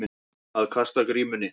Að kasta grímunni